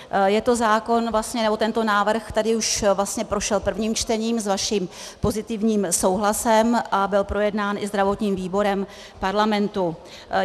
Tento návrh tady už prošel prvním čtením s vaším pozitivním souhlasem a byl projednán i zdravotním výborem parlamentu.